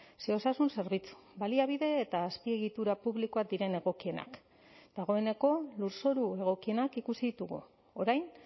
ze osasun zerbitzu baliabide eta azpiegitura publikoak diren egokienak dagoeneko lurzoru egokienak ikusi ditugu orain